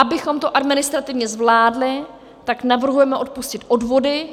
Abychom to administrativně zvládli, tak navrhujeme odpustit odvody.